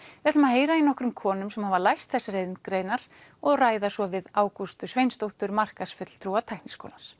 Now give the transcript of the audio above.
við ætlum að heyra í nokkrum konum sem hafa lært þessar iðngreinar og ræða svo við Ágústu Sveinsdóttur markaðsfulltrúa Tækniskólans